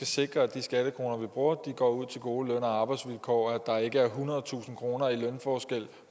sikre at de skattekroner vi bruger går ud til gode løn og arbejdsvilkår og at der ikke er ethundredetusind kroner i lønforskel